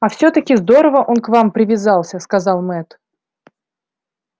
а всё-таки здорово он к вам привязался сказал мэтт